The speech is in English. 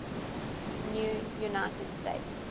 new united states